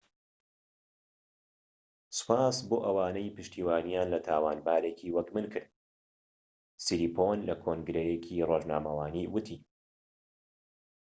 سوپاس بۆ ئەوانەی پشتیوانیان لە تاوانبارێکی وەک من کرد سیریپۆن لە کۆنگرەیەکی رۆژنامەوانی ووتی